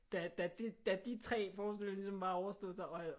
Da de 3 forestillinger ligesom var overstået der